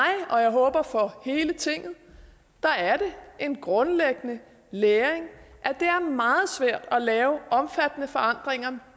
og jeg håber for hele tinget er er det en grundlæggende læring at det er meget svært at lave omfattende forandringer